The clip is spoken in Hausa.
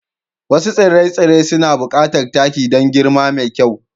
Wasu tsire-tsire suna buƙatar taki don girma mai kyau.